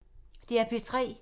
DR P3